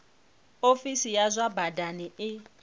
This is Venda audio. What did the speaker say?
ofisi ya zwa badani i